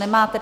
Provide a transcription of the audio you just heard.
Nemáte.